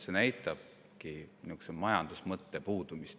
See näitabki majandusmõtte puudumist.